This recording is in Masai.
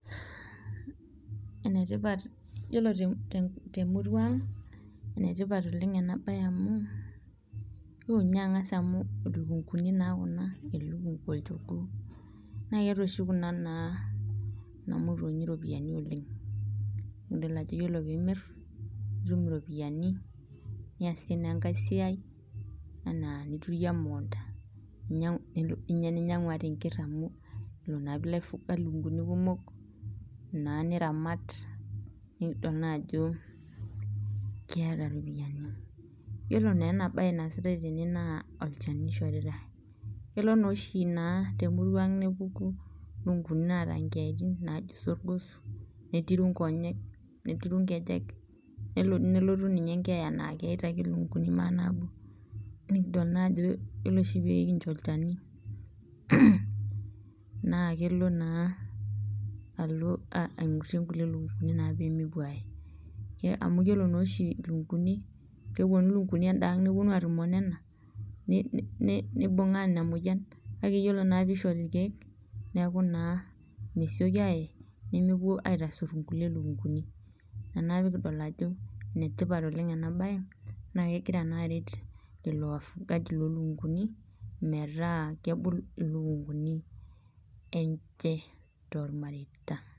Yiolo temuruang enetipata ena bae oleng amu, ore ninye angas amu lukunkuni naa kuna ,elukunku ena olchogoo naa ketaa oshi Kuna naa ena motonyi ropiani oleng .naa idol ajo yiolo pee imir nitum iropiyiani ,niyasie naa enkae siai enaa niturie emukunta, ninyangu enker amu yiolo naa pee ilo aifunga lukunkuni kumok niramat, nikidol naa ajo keeta ropiyiani .yiolo naa ena bae naasitae tene naa olchani eishoritae ,kelo naa oshi temutuang nepuku lukunkuni naata keyaitin naaji sorgos, netiru nkonyek ,netiru nkejek nelo doi ninye nelotu enkeeya naa keita ake lukunkuni maa naabo. nidol naa ajo yiolo oshi pee kincho olchani naa kelo naa aigurie nkulie lukunkuni naa pee mepuo aaye .amu yiolo naa oshi lukunkuni keponu lukunkuni endaang neponu atumo onena neibungaa ina moyian ,kake ore naake pee eishori irkeek neeku naa mesioki aaye nemepuo aitasur inkulie lukunkuni ,ina naa pee kidol ajo enetipat ena bae naa kelo naa aret lelo wafungaji lolukunkuni metaa kebulu ilukunkuni enche tormareita.